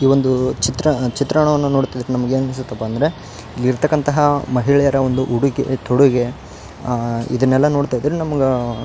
ಈ ಒಂದೂ ಚಿತ್ರ ಚಿತ್ರನ ವನ್ನು ನೋಡ್ತಿದ್ರೆ ನಮ್ಗೆ ಏನ್ ಅನ್ಸುತ್ತಪ್ಪ ಅಂದ್ರೆ ಇಲ್ಲಿರ್ತಕ್ಕಂತಹ ಮಹಿಳೆಯರ ಒಂದು ಉಡುಗೆ ತೊಡುಗೆ ಅ ಇದುನ್ನೆಲ್ಲ ನೋಡ್ತಿದ್ರೆ ನಮಗ ಆ --